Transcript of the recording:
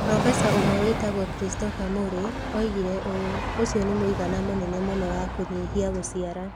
Profesa ũmwe wĩtagwo Christopher Murray oigĩre ũũ: "Ũcio nĩ mũigana mũnene mũno wa kũnyihia gũciara".